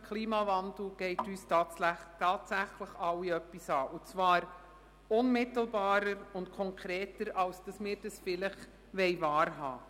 Der Klimawandel geht uns tatsächlich alle etwas an und zwar unmittelbarer und konkreter, als wir das vielleicht wahrhaben